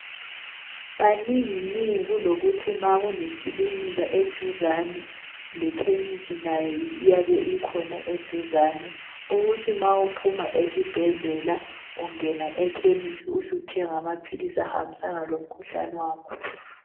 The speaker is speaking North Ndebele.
Kaningi ningi kulokuthi ma kulekilinika eduzane lekhimisi nayo iyabe ikhona eduzane ukuthi ma uphuma esibhedlela ungena ekhimisi uthenge amaphilisi ahambisana lomkhuhlane wakho .